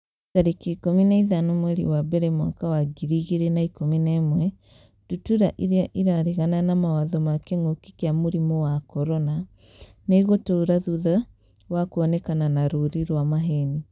tarĩki ikũmi na ithano mweri wa mbere mwaka wa ngiri igĩrĩ na ikũmi na ĩmwe Ndutura irĩa 'ĩraregana na mawatho ma kĩngũki kia mũrimũ wa CORONA nĩ ĩgũtũra thutha wa kuonekana na rũũri rwa maheeni.